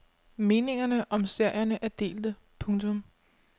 Meningerne om serierne er delte. punktum